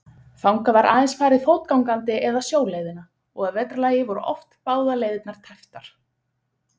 Linda: Og muntu ákveða þið inni í kjörklefanum eða ertu búinn að því?